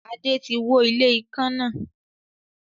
Adé tí wó ilé ikán náà.